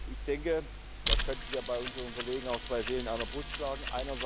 Ich denke, da könnten bei unseren Kollegen auch zwei Seelen in einer Brust schlagen.